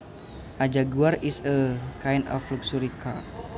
A jaguar is a kind of luxury car